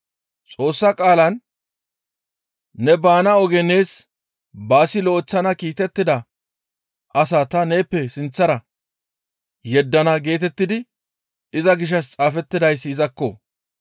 Xoossa qaalan, ‹Ne baana oge nees baasi lo7eththana kiitettida as ta neeppe sinththara yeddana› geetettidi iza gishshas xaafettidayssi izakko.